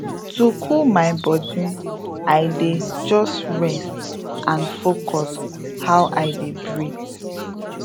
to cool my body i dey just rest and focus how i dey breathe